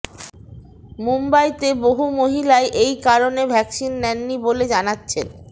মুম্বইতে বহু মহিলাই এই কারণে ভ্যাকসিন নেননি বলে জানাচ্ছেন